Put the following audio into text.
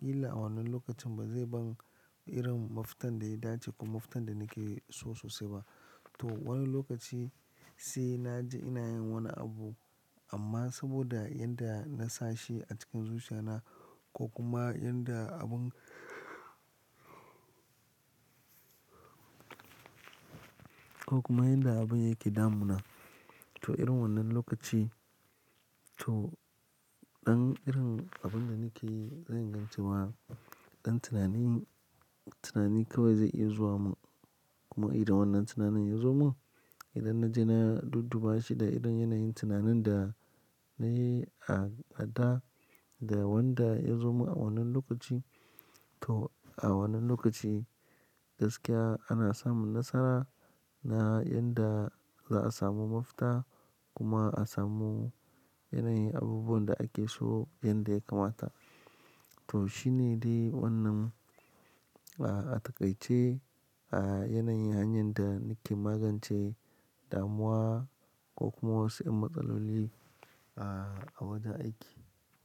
kila a wannan lokacin ba zai ban irin mafitan da ya dace ko mafitan da nake so sosai ba. To, wani lokaci sai na ji ina yin wani abu amma saboda yanda na sashi a cikin zuciya na ko kuma yanda abun, ko kuma yanda abun yake damu na. To, irin wannan lokaci to ɗan irin abun da nake yi zai ingan ce wa ɗan tunanin, tunani kawai zai iya zuwa mun. Kuma idan wannan tunanin ya zo mun idan na je na dudduba shi da irin yanayin tunanin da na yi a da da wanda ya zo mun a wannan lokaci to a wannan lokaci gaskiya ana samun nasara na yanda za'a samu mafita kuma a samu yanayin abubuwan da ake so yanda ya kamata. To, shine dai wannan, ah, a takaice, ah, yanayin hanyar da nake magance damuwa ko kuma wasu yan matsaloli, ah, a wajen aiki.